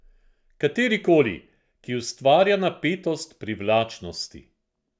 Katerikoli, ki ustvarja napetost privlačnosti.